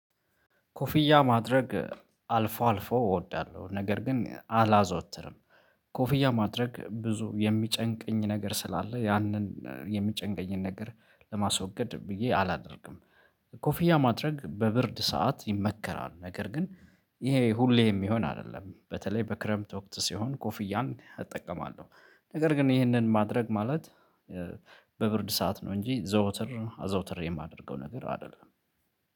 ኮፍያ ማድረግ አልፎ አልፎ እወዳለሁ ነገር ግን አላዘወትርም። ኮፍያ ማድረግ ብዙ የሚጨንቀኝ ነገር ስላለ ያንን የሚጨንቀኝን ነገር ለማስወገድ ብዬ አላደርግም። ኮፊያ ማድረግ በብርድ ሰዓት ይመከራል ነገር ግን ይሄ ሁሌ የሚሆን አይደለም። በተለይ በክረምት ወቅት ሲሆን ኮፍያን እጠቀማለሁ። ነገር ግን ይህንን ማድረግ ማለት በብርድ ሰዓት ነው እንጂ ዘውትር አዘውትሬ የማደርገው ነገር አይደለም።